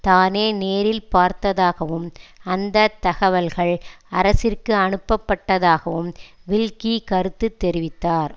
தானே நேரில் பார்த்ததாகவும் அந்த தகவல்கள் அரசிற்கு அனுப்பப்பட்டதாகவும் வில்கி கருத்து தெரிவித்தார்